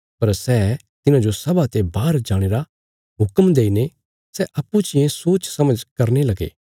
पर सै तिन्हांजो सभा ते बाहर जाणे रा हुक्म देईने सै अप्पूँचियें सोचसमझ करने लगे